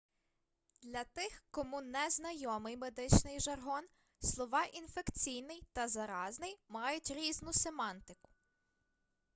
для тих кому не знайомий медичний жаргон слова інфекційний та заразний мають різну семантику